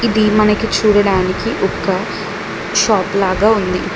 ఇది మనకి చూడడానికి ఒక్క షాప్ లాగా ఉంది.